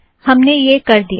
हमने यह कर दिया